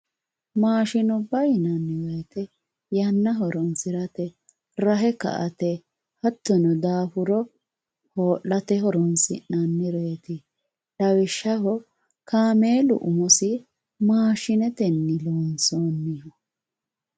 maashinubba yinanni woyiite yanna horoonsirate rahe ka"ate hattono daafuro hoo'late horoonsi'nannireeti lawishshaho kaameelu umosi maashinetenni loonsoonniho